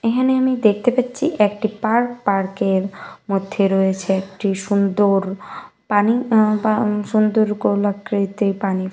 এখানে আমি দেখতে পাচ্ছি একটি পার্ক পার্ক এর মধ্যে রয়েছে একটি সুন্দর পানি আ পা সুন্দর গোল আকৃতি পানি।